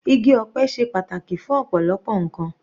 Igi ọ̀pẹ ṣe pàtàkì fún ọ̀pọ̀lọpọ̀ ǹkan.